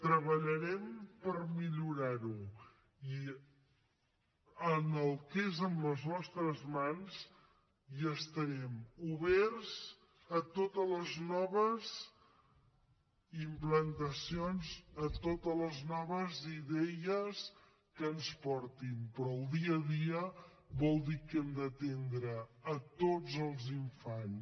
treballarem per millorar ho i en el que és a les nostres mans estarem oberts a totes les noves implantacions a totes les noves idees que ens portin però el dia a dia vol dir que hem d’atendre tots els infants